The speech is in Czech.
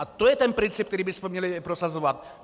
A to je ten princip, který bychom měli prosazovat.